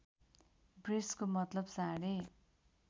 वृषको मतलब साँढे